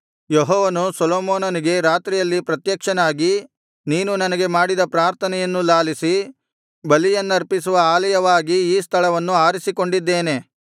ಯೆಹೋವನು ಸೊಲೊಮೋನನಿಗೆ ರಾತ್ರಿಯಲ್ಲಿ ಪ್ರತ್ಯಕ್ಷನಾಗಿ ನೀನು ನನಗೆ ಮಾಡಿದ ಪ್ರಾರ್ಥನೆಯನ್ನು ಲಾಲಿಸಿ ಬಲಿಯನ್ನರ್ಪಿಸುವ ಆಲಯವಾಗಿ ಈ ಸ್ಥಳವನ್ನು ಆರಿಸಿಕೊಂಡಿದ್ದೇನೆ